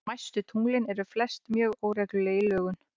Smæstu tunglin eru flest mjög óregluleg í lögun.